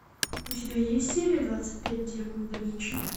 у тебя есть серия двадцать пять демоны да винчи